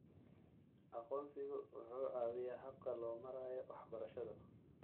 Aqoonsigu waxa uu caawiyaa habka loo marayo waxbarashada.